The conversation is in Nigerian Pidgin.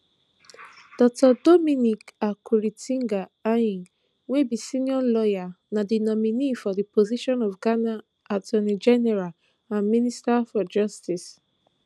dr dominic akuritinga ayine wey be senior lawyer na di nominee for di position of ghana attorneygeneral and minister for justice